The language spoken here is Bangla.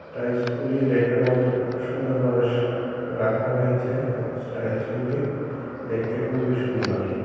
টাইলসগুলি র্যাকের মধ্যে খুব সুন্দর ভাবে সা রাখা হয়েছে এবং টাইলসগুলি দেখতে খুবই সুন্দর।